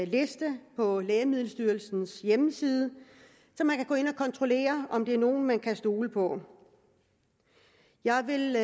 liste på lægemiddelstyrelsens hjemmeside så man kan gå ind og kontrollere om det er nogen man kan stole på jeg vil